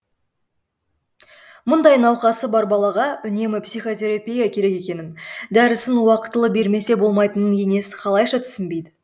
мұндай науқасы бар балаға үнемі психотерапия керек екенін дәрісін уақытылы бермесе болмайтынын енесі қалйша түсінбейді